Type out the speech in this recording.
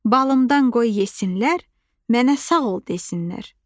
Balımdan qoy yesinlər, mənə sağ ol desinlər.